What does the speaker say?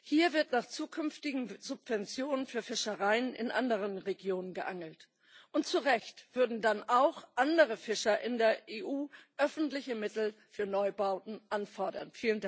Hier wird nach zukünftigen Subventionen für Fischereien in anderen Regionen geangelt, und zu Recht würden dann auch andere Fischer in der EU öffentliche Mittel für Neubauten anfordern.